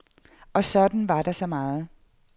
Og sådan var der så meget.